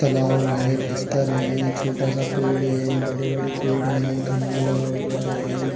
तलाव है पत्थर है छोटा सा पेड़ है बड़े - बड़े पेड़ है खंबा लगा हुआ है ।